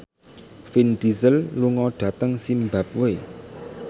Vin Diesel lunga dhateng zimbabwe